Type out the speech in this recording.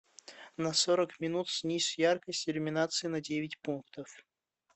на сорок минут снизь яркость иллюминации на девять пунктов